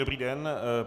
Dobrý den.